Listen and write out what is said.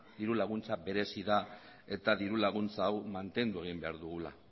diru laguntza berezi da eta diru laguntza hau mantendu egin behar dugula